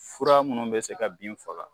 Fura minnu bɛ se ka bin faga